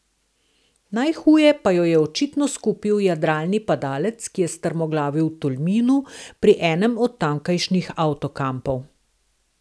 Najhuje pa jo je očitno skupil jadralni padalec, ki je strmoglavil v Tolminu pri enem od tamkajšnjih avtokampov.